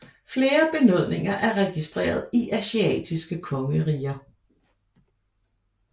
Flere benådninger er registreret i asiatiske kongeriger